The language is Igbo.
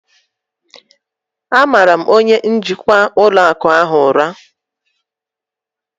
M mara onye njikwa ụlọ akụ ahụ ụra